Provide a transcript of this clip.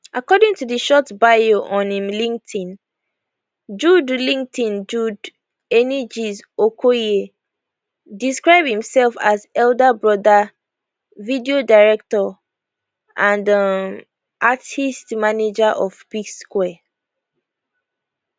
according to di short bio on im linkedin jude linkedin jude engees okoye describe imsef as elder brother video director and um artiste manager of psquare